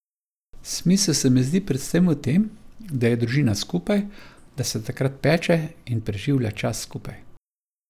Smisel se mi zdi predvsem v tem, da je družina skupaj, da se takrat peče in preživlja čas skupaj.